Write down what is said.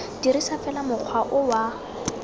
dirisa fela mokgwa o wa